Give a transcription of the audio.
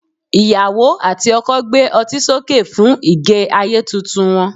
iyawo ati oko gbé otí soke fún ige ayé Titun wan